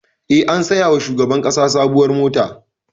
E, an saya wa shugaban ƙasa sabuwar mota.